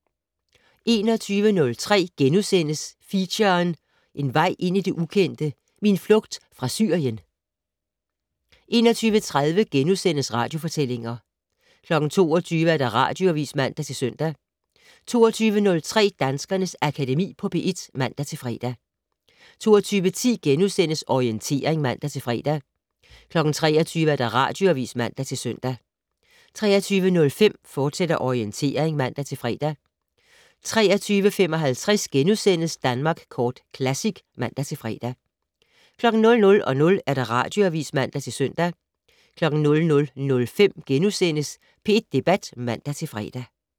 21:03: Feature: En vej ind i det ukendte - min flugt fra Syrien * 21:30: Radiofortællinger * 22:00: Radioavis (man-søn) 22:03: Danskernes Akademi på P1 (man-fre) 22:10: Orientering *(man-fre) 23:00: Radioavis (man-søn) 23:05: Orientering, fortsat (man-fre) 23:55: Danmark Kort Classic *(man-fre) 00:00: Radioavis (man-søn) 00:05: P1 Debat *(man-fre)